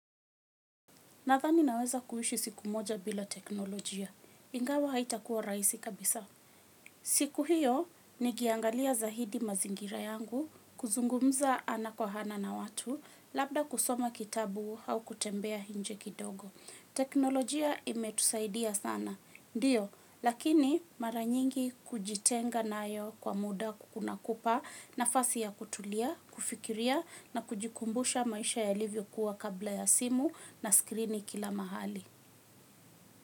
Nadhani naweza kuishi siku moja bila teknolojia. Ingawa haitakuwa rahisi kabisa. Siku hiyo, nikiangalia zaidi mazingira yangu, kuzungumza ana kwa ana na watu, labda kusoma kitabu au kutembea nje kidogo. Teknolojia imetusaidia sana. Ndiyo, lakini mara nyingi kujitenga nayo kwa muda kunakupa nafasi ya kutulia, kufikiria na kujikumbusha maisha yalivyo kuwa kabla ya simu na skrini kila mahali.